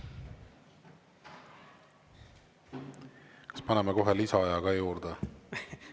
Kas paneme kohe lisaaja ka juurde?